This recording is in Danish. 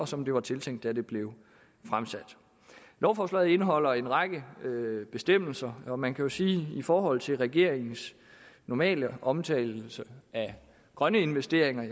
som det var tiltænkt da det blev fremsat lovforslaget indeholder en række bestemmelser og man kan jo sige at i forhold til regeringens normale omtale af grønne investeringer